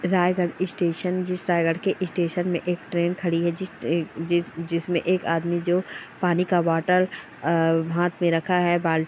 Raigarh station जिस रायगढ़ के station में एक ट्रेन खड़ी है जिस ट्रेन जिस जिसमें एक आदमी जो पानी का बोतल आ हाथ में रखा है बाल्टी --